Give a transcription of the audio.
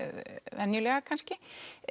venjulega kannski